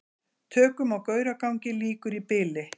Tökum á Gauragangi lýkur í bili